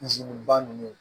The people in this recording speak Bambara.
ba ninnu